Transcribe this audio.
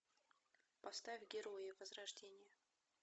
поставь герои возрождение